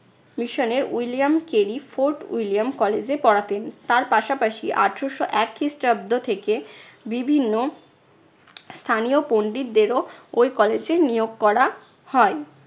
mission এ William কেলিফ Fort William college এ পড়াতেন। তার পাশাপাশি আঠারশো এক খ্রিস্টাব্দ থেকে বিভিন্ন স্থানীয় পণ্ডিতদেরও ঐ college এ নিয়োগ করা হয়।